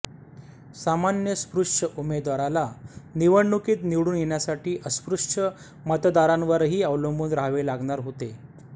सामान्य स्पृश्य उमेदवाराला निवडणुकीत निवडून येण्यासाठी अस्पृश्य मतदारांवरही अवलंबून राहावे लागणार होते